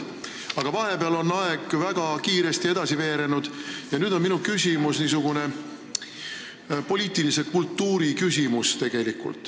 Aga vahepeal on aeg väga kiiresti edasi veerenud ja minu küsimus tuleb poliitilise kultuuri kohta.